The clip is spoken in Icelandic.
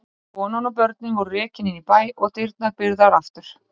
Konan og börnin voru rekin inn í bæ og dyrnar byrgðar aftur.